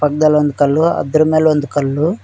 ಇದರನ್ ಕಲ್ಲು ಅದರ ಮೇಲೊಂದು ಕಲ್ಲು--